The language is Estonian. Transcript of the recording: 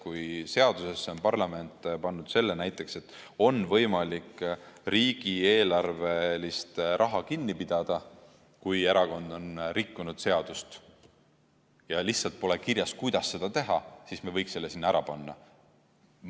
Kui seadusesse on parlament kirjutanud näiteks selle, et on võimalik riigieelarvelist raha kinni pidada, kui erakond on rikkunud seadust, aga lihtsalt pole kirjas, kuidas seda teha, siis me võiks selle sinna kirja panna.